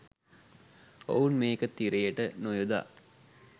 ඔවුන් මේක තිරයට නොයොදා